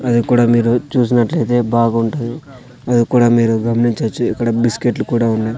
అది కూడా మీరు చూసినట్లయితే బాగుంటుంది అది కూడా మీరు గమనించొచ్చు ఇక్కడ బిస్కెట్లు కూడా ఉన్నై.